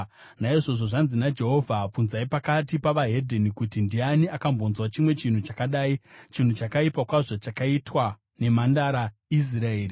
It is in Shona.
Naizvozvo zvanzi naJehovha: “Bvunzai pakati pevedzimwe ndudzi kuti: Ndiani akambonzwa chimwe chinhu chakadai? Chinhu chakaipa kwazvo chakaitwa neMhandara Israeri.